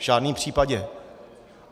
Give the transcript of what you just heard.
V žádném případě.